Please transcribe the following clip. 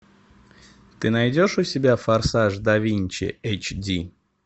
ты найдешь у себя форсаж да винчи эйч ди